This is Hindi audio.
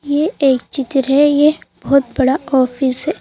ये एक चित्र है यह बहुत बड़ा ऑफिस है।